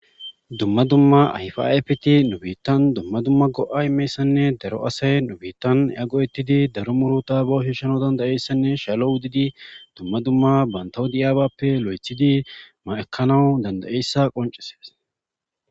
Dumma dumma ayfe ayifa mithati nu bittan dumma dumma go'ay qassinne daro asay nu bittan go'ettidi daro muruta bawu shishanawu dandayessannee shalo Ottidi dumma dumma baantaw diyabaappe loyttidi ekkanawu dandayessa qoncisses.